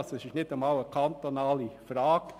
Es ist also nicht einmal eine kantonale Frage.